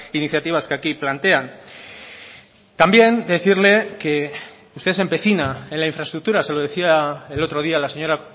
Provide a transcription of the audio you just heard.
iniciativas que aquí plantean también decirle que usted se empecina en la infraestructura se lo decía el otro día la señora